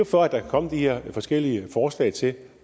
for at der kan komme de her forskellige forslag til